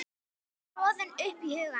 tröðin upp í hugann.